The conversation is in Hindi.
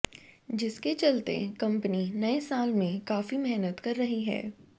जिसके चलते कंपनी नए साल में काफी मेहनत कर रही है